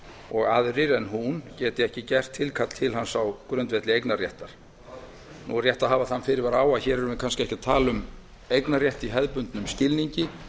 og að aðrir en hún geti ekki gert tilkall til hans á grundvelli eignarréttar nú er rétt að hafa þann fyrirvara á að hér erum við kannski ekki að tala um eignarrétt í hefðbundnum skilningi